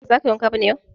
Ba za ka yi wanka ba ne yau?